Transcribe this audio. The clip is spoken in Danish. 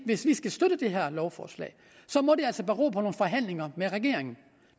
hvis vi skal støtte det her lovforslag må det altså bero på nogle forhandlinger med regeringen